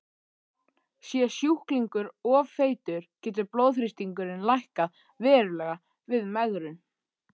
Sé sjúklingur of feitur getur blóðþrýstingurinn lækkað verulega við megrun.